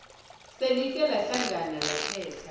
selike lahlangana lakhetha